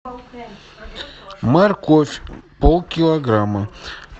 морковь полкилограмма